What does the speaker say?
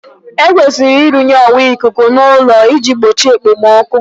Ekwesịrị irụnyere ọwa ikuku n'ụlọ ị ji gbochie okpomọkụ?